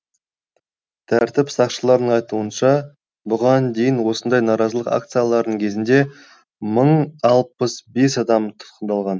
тәртіп сақшыларының айтуынша бұған дейін осындай наразылық акцияларының кезінде мың алпыс бес адам тұтқындалған